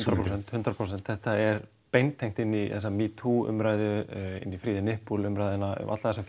hundrað prósent þetta er beintengt inn í þessa metoo umræðu inn í free the nipple umræðuna alla þessa